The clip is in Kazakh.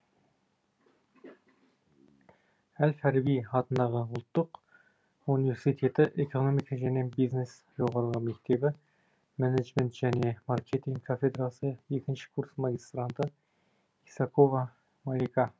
әл фараби атындағы қазақ ұлттық университеті экономика және бизнес жоғары мектебі менеджмент және маркетинг кафедрасы екінші курс магистранты исакова малика